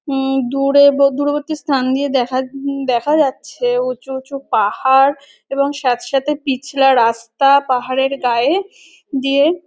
ঊম-ম দূরে দে দূরবর্তী স্থান দিয়ে দেখা উম দেখা যাচ্ছে উঁচু উঁচু পাহাড় এবং স্যাঁত স্যাঁতে পিছলা রাস্তা পাহাড়ের গায়ে দিয়ে--